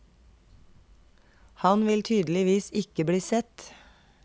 Han vil tydeligvis ikke bli sett.